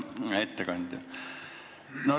Hea ettekandja!